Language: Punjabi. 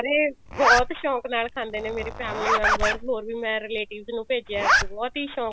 ਸਾਰੇ ਬਹੁਤ ਸ਼ੋਂਕ ਨਾਲ ਖਾਂਦੇ ਨੇ ਮੇਰੇ family members ਮੈਂ ਹੋਰ ਵੀ relatives ਨੂੰ ਭੇਜਿਆ ਬਹੁਤ ਹੀ ਸ਼ੋਂਕ